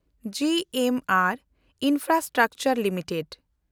G M and infrastructure limited